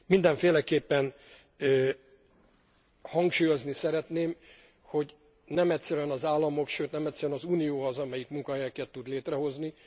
Mindenféleképpen hangsúlyozni szeretném, hogy nem egyszerűen az államok, sőt nem egyszerűen az Unió az, amelyik munkahelyeket tud létrehozni.